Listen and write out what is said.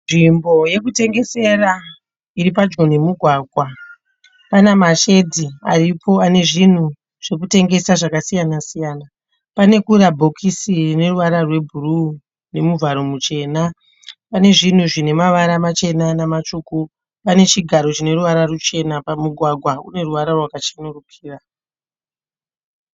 Nzvimbo yekutengesera iri padyo nemugwagwa pana mashedzi aripo ane zvinhu zvekutengesa zvakasiyana siyana pane kura bhokisi ine ruvara rwebhuruu nemuvharo muchena pane zvinhu zvine mavara machena namatsvuku pane chigaro chine ruvara ruchena apa mugwagwa une ruvara rwakachenurikira.